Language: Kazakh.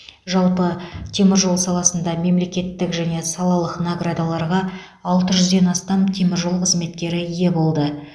жалпы теміржол саласында мемлекеттік және салалық наградаларға алты жүзден астам теміржол қызметкері ие болды